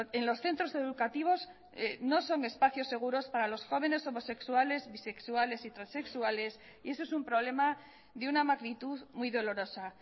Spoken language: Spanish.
en los centros educativos no son espacios seguros para los jóvenes homosexuales bisexuales y transexuales y eso es un problema de una magnitud muy dolorosa